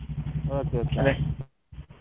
Okay okay.